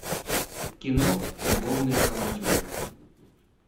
кино любовные авантюры